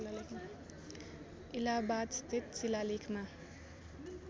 इलाहाबाद स्थित शिलालेखमा